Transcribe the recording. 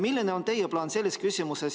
Milline on teie plaan selles osas?